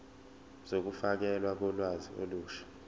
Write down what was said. zokufakelwa kolwazi olusha